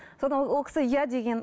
содан ол кісі иә деген